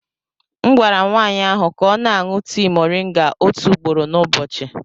M gwara nwaanyị ahụ ka ọ na-aṅụ tii moringa otu ugboro n'ụbọchị.